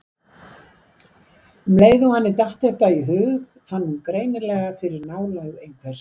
Um leið og henni datt þetta í hug fann hún greinilega fyrir nálægð einhvers.